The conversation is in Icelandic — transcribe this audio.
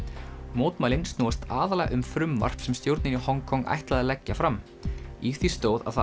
mótmælin snúast aðallega um frumvarp sem stjórnin í Hong Kong ætlaði að leggja fram í því stóð að það